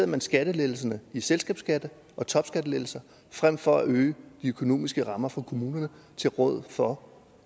man skattelettelserne i selskabsskatten og topskattelettelser frem for at øge de økonomiske rammer for kommunerne til råd for